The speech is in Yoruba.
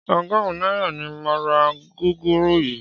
Ọgọ́rùn-ún náírà ni mo ra gúgúrú yìí